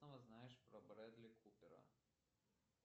что знаешь про брэдли купера